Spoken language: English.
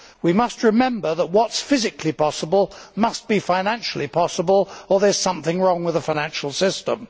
We must remember that what is physically possible must be financially possible, or there is something wrong with the financial system.